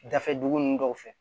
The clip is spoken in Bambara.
Dafɛ dugu ninnu dɔw fɛ